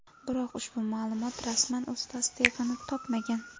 Biroq ushbu ma’lumot rasman o‘z tasdig‘ini topmagan.